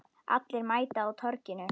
Allir mæta á Torginu